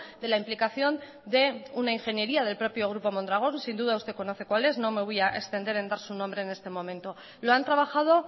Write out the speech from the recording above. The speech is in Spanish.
de la implicación de una ingeniería del propio grupo mondragón sin duda usted conoce cuál es no me voy a extender en dar su nombre en este momento lo han trabajado